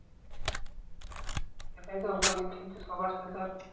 ওটাই তো বলছি যে সবার সাথে